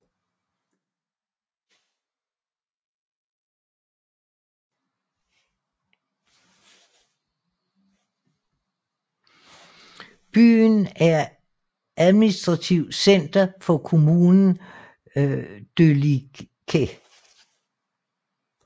Byen er administrativt center for kommunen Delicias